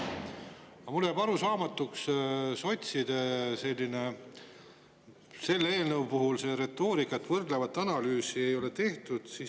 Aga mulle jääb arusaamatuks sotside selline retoorika selle eelnõu puhul, miks võrdlevat analüüsi ei ole tehtud.